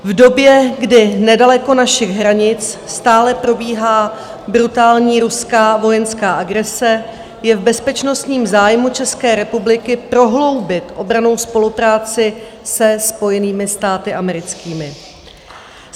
V době, kdy nedaleko našich hranic stále probíhá brutální ruská vojenská agrese, je v bezpečnostním zájmu České republiky prohloubit obrannou spolupráci se Spojenými státy americkými.